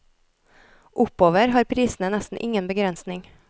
Oppover har prisene nesten ingen begrensning.